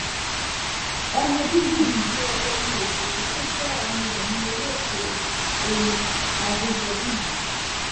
ọmọ bíbí ìlú èdè ní òṣèré tó jẹ́ ọmọ ẹ̀yìn olóògbé oyin adéjọ́bí yìí